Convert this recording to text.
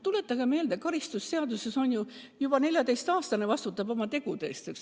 Tuletage meelde, karistusseadustiku järgi juba 14-aastane vastutab oma tegude eest.